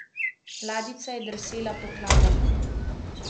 Ladjica je drsela po kladah.